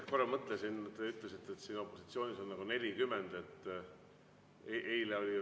Ma korra mõtlesin sellele, kui te ütlesite, et opositsioonis on 40.